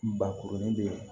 Bakurunin bɛ yen